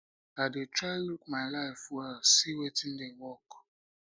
i dey try look my life well see wetin dey work